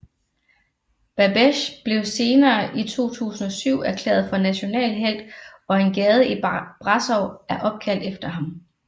Babeş blev senere i 2007 erklæret for national helt og en gade i Brasov er opkaldt efter ham